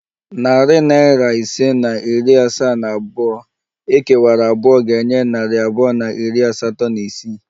Narị naira ise na iri asaa na abụọ ekewara abụọ ga-enye narị abụọ na iri asatọ na isii